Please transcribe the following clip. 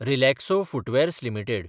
Relaxo footwears limited